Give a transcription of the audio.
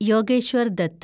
Yogeshwar Dutt